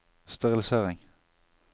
sterilisering